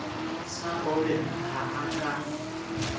sa robben ha a ka